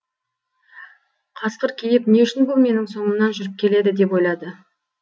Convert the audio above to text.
қасқыр кейіп не үшін бұл менің соңымнан жүріп келеді деп ойлады